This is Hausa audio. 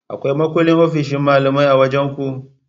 Akwai makullin ofshin malamai a wajan ku?